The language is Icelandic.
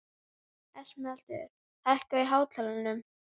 Hann var fluttur í kantónu fyrir norðan.